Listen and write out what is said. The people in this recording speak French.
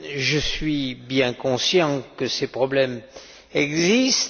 Je suis bien conscient que ces problèmes existent.